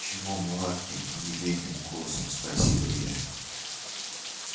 чего мулатки елейным голосом спросила я